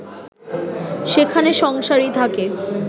সেখানে সংসারী থাকে